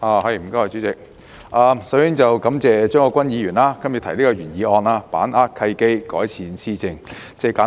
代理主席，我首先感謝張國鈞議員動議"把握契機，改善施政"的議案。